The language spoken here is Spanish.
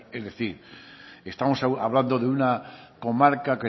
es decir estamos hablando de una comarca